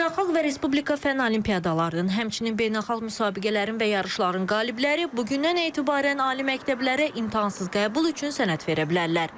Beynəlxalq və Respublika Fənn Olimpiadalarının, həmçinin beynəlxalq müsabiqələrin və yarışların qalibləri bugündən etibarən ali məktəblərə imtahansız qəbul üçün sənəd verə bilərlər.